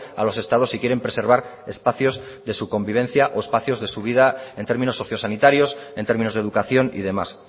a los estados si quieren preservar espacios de su convivencia o espacios de su vida en términos sociosanitarios en términos de educación y demás